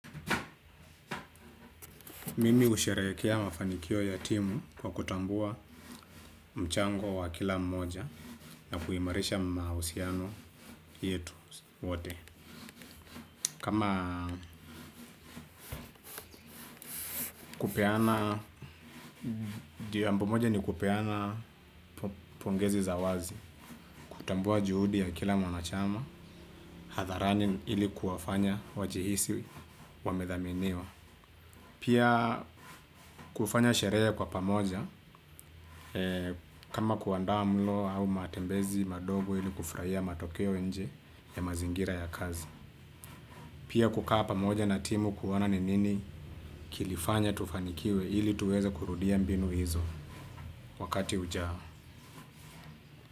Mimi husherehekea mafanikio ya timu kwa kutambua mchango wa kila mmoja na kuimarisha mahusiano yetu wote. Kama kupeana, ndiyo jambo moja ni kupeana pongezi za wazi, kutambua juhudi ya kila mwanachama, hadharani ili kuwafanya wajihisi wamethaminiwa. Pia kufanya sherehe kwa pamoja kama kuandaa mlo au matembezi madogo ili kufurahia matokeo nje ya mazingira ya kazi. Pia kukaa pamoja na timu kuona ni nini kilifanya tufanikiwe ili tuweze kurudia mbinu hizo wakati ujao.